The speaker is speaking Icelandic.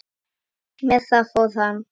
Með það fór hann.